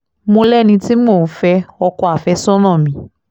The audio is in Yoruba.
mo lẹ́ni tí mò ń fẹ́ ọkọ àfẹ́sọ́nà mi